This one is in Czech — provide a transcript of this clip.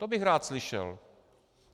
To bych rád slyšel.